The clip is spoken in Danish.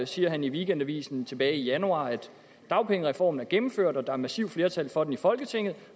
siger i weekendavisen tilbage i januar at dagpengereformen er gennemført og at der er et massivt flertal for den i folketinget